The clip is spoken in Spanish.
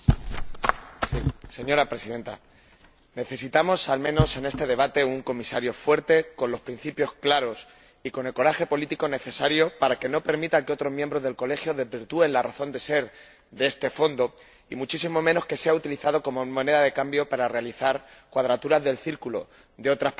Señora Presidenta, necesitamos, al menos en este debate, un Comisario fuerte con los principios claros y con el coraje político necesario para que no permita que otros miembros del Colegio desvirtúen la razón de ser de este Fondo, y muchísimo menos que sea utilizado como moneda de cambio para realizar cuadraturas del círculo de otras políticas comunitarias.